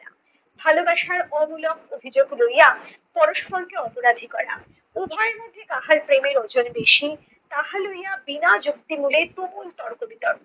ভালোবাসার অমূলক অভিযোগ লইয়া পরস্পরকে অপরাধী করা, উভয়ের মধ্যে কাহার প্রেমের ওজন বেশি, তাহা লইয়া বিনা যুক্তি মূলে তুমুল তর্ক-বিতর্ক।